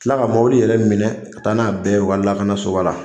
Kila ka mɔbili yɛrɛ minɛ, ka taa n'a bɛɛ ye u ka lakanasoba la.